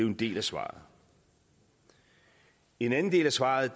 en del af svaret en anden del af svaret